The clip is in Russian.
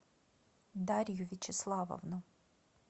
дарью вячеславовну